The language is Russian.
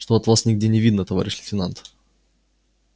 что то вас нигде не видно товарищ лейтенант